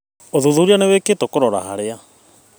ũthuthuria nĩwĩkĩtũo kũrora harĩa